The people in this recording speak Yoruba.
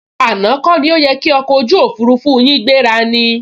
Àná kọ ni ó yẹ ki ọkọ̀ ojú òfurufú yin gbéra ni?